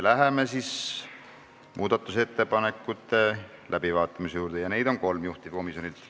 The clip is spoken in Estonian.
Läheme muudatusettepanekute läbivaatamise juurde, neid on kolm juhtivkomisjonilt.